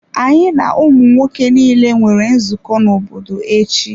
Anyị na ụmụ nwoke niile nwere nzukọ obodo echi.